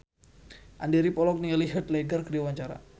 Andy rif olohok ningali Heath Ledger keur diwawancara